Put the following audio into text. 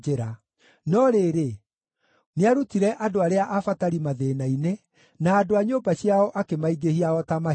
No rĩrĩ, nĩarutire andũ arĩa abatari mathĩĩna-inĩ, na andũ a nyũmba ciao akĩmaingĩhia o ta mahiũ.